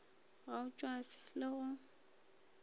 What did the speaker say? ga o tšwafe le go